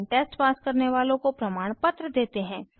online test pass करने वालों को प्रमाणपत्र देते हैं